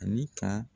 Ani ka